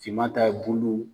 Finman ta ye bulu